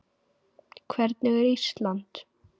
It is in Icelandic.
Hvernig er Ísland?